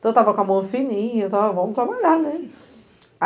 Então, eu estava com a mão fininha, então vamos trabalhar, né?